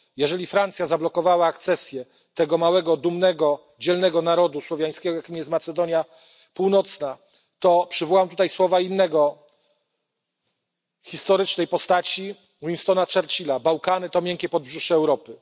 Jeżeli Francja zablokowała akcesję tego małego, dumnego, dzielnego narodu słowiańskiego, jakim jest Macedonia Północna, to przywołam tutaj słowa innej historycznej postaci, Winstona Churchilla Bałkany to miękkie podbrzusze Europy.